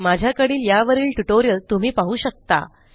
माझ्याकडील यावरील ट्युटोरियल तुम्ही पाहू शकता